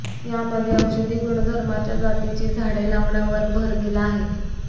यामध्ये औषधी गुणधर्माच्या जातीची झाडे लावण्यावर भर दिला आहे